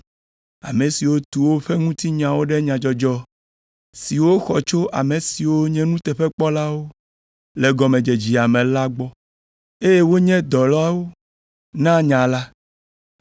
ame siwo tu woƒe ŋutinyawo ɖe nyadzɔdzɔ siwo woxɔ tso ame siwo nye nuteƒekpɔlawo le gɔmedzedzea me la gbɔ, eye wonye dɔlawo na nya la.